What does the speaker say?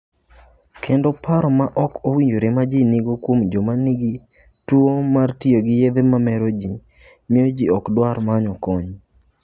Kendo paro ma ok owinjore ma ji nigo kuom joma nigi tuwo mar tiyo gi yedhe mamero miyo ji ok dwar manyo kony.